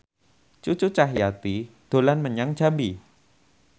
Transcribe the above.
Cucu Cahyati dolan menyang Jambi